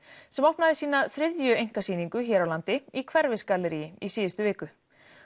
sem opnaði sína þriðju einkasýningu hér á landi í Hverfisgalleríi í síðustu viku